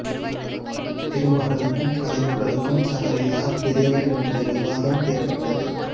திருமகளுக்கும் கலைமகளுக்கும் தங்களில் யார் பெரியவர் என்ற விவாதம் ஏற்பட்டது